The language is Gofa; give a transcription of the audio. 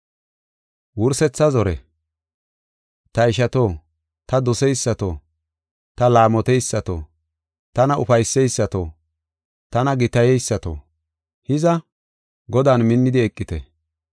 Ta ishato, ta doseysato, ta laamoteysato, tana ufayseysato, tana gitayeysato, hiza, Godan minnidi eqite.